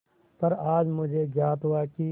पर आज मुझे ज्ञात हुआ कि